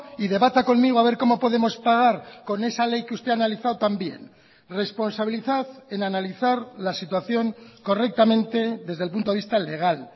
y debata conmigo a ver como podemos pagar con esa ley que usted ha analizado también responsabilizad en analizar la situación correctamente desde el punto de vista legal